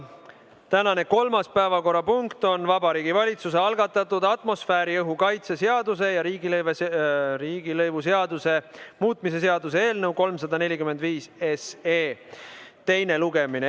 Tänane kolmas päevakorrapunkt on Vabariigi Valitsuse algatatud atmosfääriõhu kaitse seaduse ja riigilõivuseaduse muutmise seaduse eelnõu 345 teine lugemine.